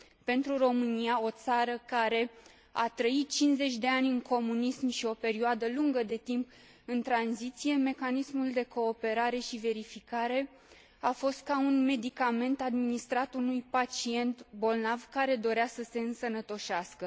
Pentru România, o țară care a trăit 50 de ani în comunism și o perioadă lungă de timp în tranziție, mecanismul de cooperare și verificare a fost ca un medicament administrat unui pacient bolnav care dorea să se însănătoșească.